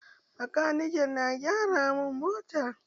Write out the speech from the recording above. Makanikin na gyara mun mota.